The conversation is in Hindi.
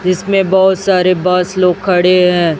इसमें बहुत सारे बॉस लोग खड़े हैं।